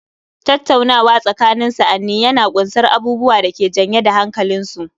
Tattaunawa tsakanin sa'anni yana ƙunsar abubuwa da ke janye da hankalinsu